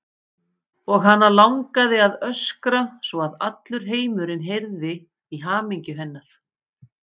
Og hana langaði að öskra svo að allur heimurinn heyrði í hamingju hennar.